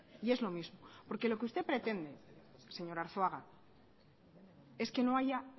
y es lo mismo porque lo que usted pretende señor arzuaga es que no haya